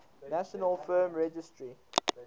national film registry